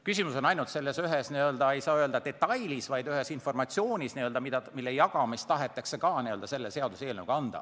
Küsimus on ainult ühes asjaolus – ei saa öelda, et detailis –, nimelt informatsioonis, mille jagamist tahetakse samuti selle seaduseelnõuga lubada.